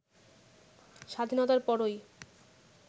স্বাধীনতার পরই